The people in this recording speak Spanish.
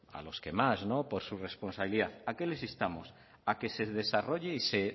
a los que más por su responsabilidad a qué les instamos a que se desarrolle y se